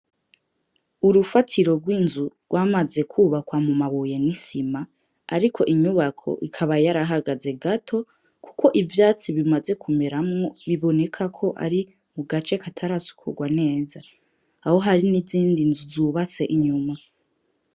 Urufatiro rw’inzu rwamaze kwubakwa mu mabuye n'isima, ariko inyubako ikaba yarahagaze gato kuko ivyatsi bimaze kumeramwo biboneka ko ari mu gace katarasukugwa neza. Aho hari n’izindi nzu zubatse inyuma.